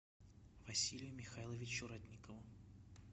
василию михайловичу ратникову